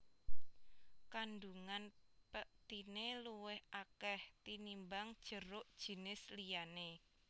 Kandungan pektiné luwih akèh tinimbang jeruk jinis liyané